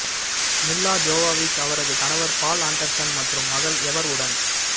மில்லா Jovovich அவரது கணவர் Paul Anderson மற்றும் மகள் எவர் உடன்